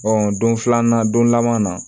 don filanan don laban na